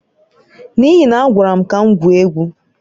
N'ihi na a gwara m ka m gwuo egwu.